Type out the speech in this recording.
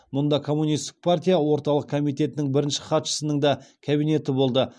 мұнда коммунистік партия орталық комитетінің бірінші хатшысының да кабинеті болды